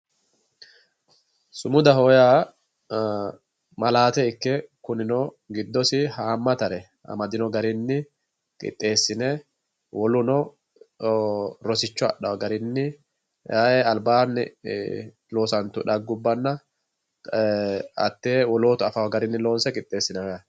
Sumudaho yaa ma'laate ikke kunino giddosi hamatare amadino garinni qixxeesine woluno rosicho adhano garinni ayee albaani loossatu dhagguwa hate wolootu affano garinni loonse qixxeesinanni yaate.